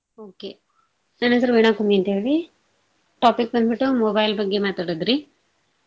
Okay ನನ್ನ ಹೆಸರು ವೀಣಾ ಕುಮ್ಮಿ ಅಂತೇಳಿ, topic ಬಂದ್ಬಿಟ್ಟು mobile ಬಗ್ಗೆ ಮಾತಾಡೋದ್ರಿ.